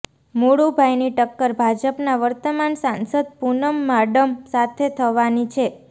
મુળુભાઈની ટક્કર ભાજપના વર્તમાન સાંસદ પૂનમ માડમ સાથે થવાની છે